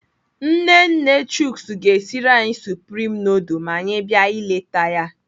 Nne nne Chuks ga-esiri anyị supreme nudul ma anyị bịa ileta ya.